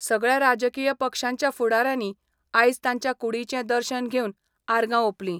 सगळ्या राजकीय पक्षांच्या फुडाऱ्यांनी आयज तांच्या कुडीचें दर्शन घेवन आर्गा ओपलीं.